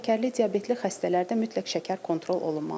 Şəkərli diabetli xəstələrdə mütləq şəkər kontrol olunmalıdır.